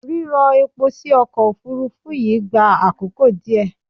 Rírọ epo sí ọkọ̀ Òfurufú yìí gbà àkókò díẹ̀.